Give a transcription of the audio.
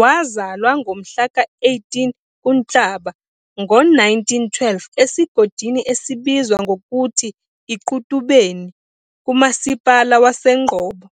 Wazalwa ngomhla ka-18 kuNhlaba ngo-1912, esigodini esibizwa ngokuthi iQutubeni, kumasipala waseNgcobo,